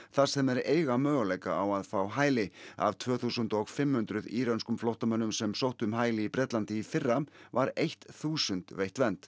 þar sem þeir eiga möguleika á að fá hæli af tvö þúsund og fimm hundruð írönskum flóttamönnum sem sóttu um hæli í Bretlandi í fyrra var eitt þúsund veitt vernd